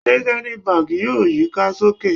Ṣe Zenith Bank yoo yika soke?